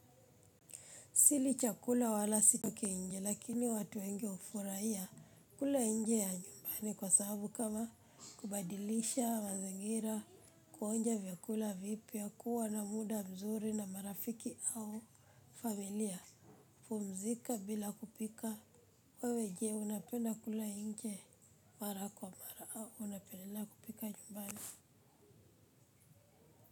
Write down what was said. Sili chakula wala sichoki nje, lakini watu wengi hufurahia kula nje ya nyumbani kwa sababu kama kubadilisha, mazingira, kuonja vyakula vipya kuwa na muda mzuri na marafiki au familia. Pumzika bila kupika, wewe je unapenda kula nje mara kwa mara au unapendelea kupika nyumbani.